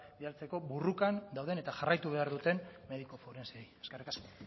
bidaltzeko borrokan dauden eta jarraitu behar duten mediku forensei eskerrik asko